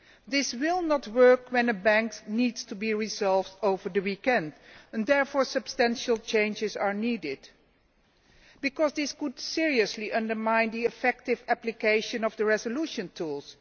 This will not work when a bank needs to be resolved over the weekend. Therefore, substantial changes are needed because this could seriously undermine effective application of the resolution tools.